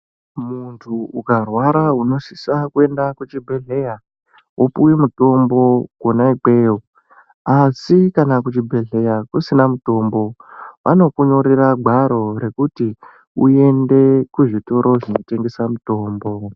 Muntu ukarwara unosisa kuenda kuchibhedhleya wopiwa mutombo kwona ikweyo asi kana kuchibhedhleya kusina mutombo vanokunyorera gwaro rekuti uende kuzvitoro zvinotengesa mitombo.